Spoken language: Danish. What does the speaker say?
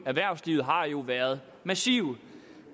erhvervslivet har jo været massive